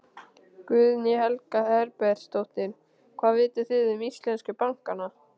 Guðný Helga Herbertsdóttir: Hvað vitið þið um íslensku bankana?